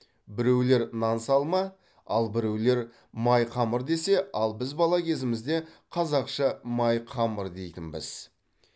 біреулер нан салма ал біреулер маи қамыр десе ал біз бала кезімізде қазақша маи қамыр деитінбіз